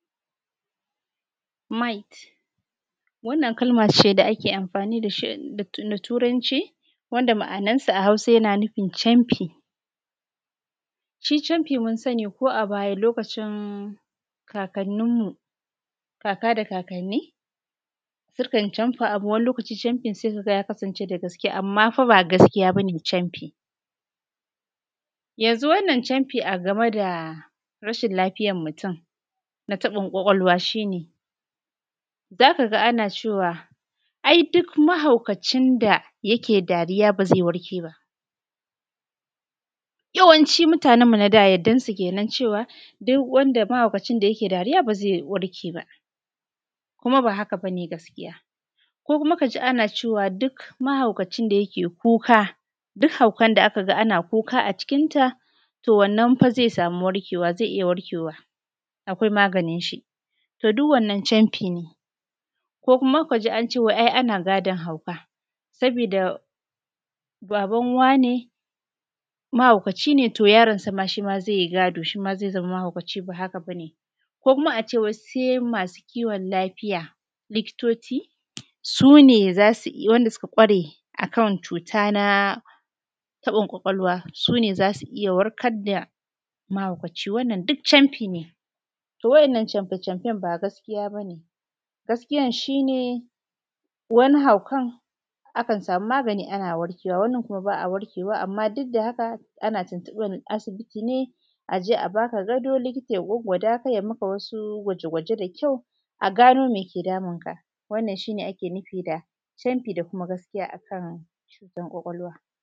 Might wannan kalma ce da ake amfani da ita a Turanci wanda ma’anan sa a Hausa yana nufin camfi, shi camfi mun sani ko a baya lokacin kakanni sukan camfa abu wani lokaci sai ka ga abun ya kasance da gaske. Amma fa ba gaskiya ba ne camfi yanzu wannan camfi a ga me da rashin lafiyan mutun na taɓin kwakwalwa shi ne za ka ga ana cewa ai duk mahaukacin da yake dariya ba zai warke ba, yawancin mutanenmu na da yadda su kenan cewa duk wani mahaukacin da yake dariya ba zai warke ba, kuma ba haka ba ne. Gaskiya ko kuma ka ji ana cewa duk mahaukacin da yake kuka duk haukan da aka ga ana kuka a cikin ta to wannan zai iya warkewa, akwai maganin shi to duk wannan camfi ne ko kuma ka ji an ce wai ana gadon hauka sabida baban wane mahaukaci ne to yaron sa shi ma zai yi gado, zai zama mahaukaci kuma ba haka ba ne. Ko kuma a ce wai sai masu kiwon lafiya su ne suka kware akan cuta na taɓin kwakwalwa su ne za su iya warkar da mahaukaci. Wannan duk camfi ne to waɗannan ba gaskiya ba ne, gaskiyan shi ne wani haukan akan samu magani ana warke wa, wani kuma ba a warkewa amma duk da haka ana tuntuɓan asibiti ne a je a baka gado, likita ya gwaggwada ka a maka wasu gwaje-gwaje da kyau a gano me ke damun ka, wannan shi ne ake nufi da camfi da kuma gaskiya akan cutan kwakwalwa.